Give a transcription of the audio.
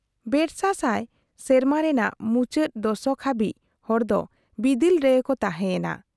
ᱵᱮᱥᱟ ᱥᱟᱭ ᱥᱮᱨᱢᱟ ᱨᱮᱱᱟᱜ ᱢᱩᱪᱟᱹᱫ ᱫᱚᱥᱚᱠ ᱦᱟᱵᱤᱡ ᱦᱚᱲ ᱫᱚ ᱵᱤᱫᱤᱞ ᱨᱮᱜᱮ ᱠᱚ ᱛᱟᱦᱮᱸᱭᱮᱱᱟ ᱾